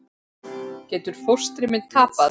Getur fóstri minn tapað?